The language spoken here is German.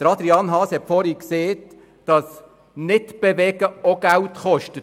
Grossrat Haas hat zuvor erwähnt, dass Stillstand auch Geld kostet.